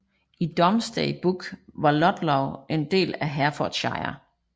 I Domesday Book var Ludlow en del af Herefordshire